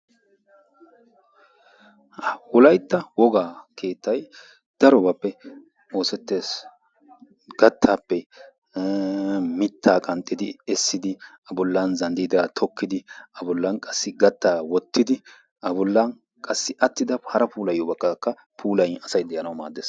Wolaytta wogaa daroobappe oosettees. Gattaappe mittaa qanxxidi essidi boollan zandiddaa tokkidi a bollan qassi gattaa wottidi a bollan hara puulayiyoobatakka puulayidi asay de'anawu maaddees.